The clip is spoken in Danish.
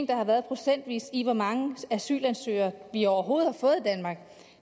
der har været procentvis i hvor mange asylansøgere vi overhovedet